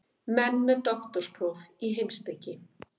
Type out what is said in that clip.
Menn með doktorspróf í heimspeki?